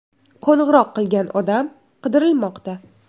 Qo‘ng‘iroq qilgan odam qidirilmoqda.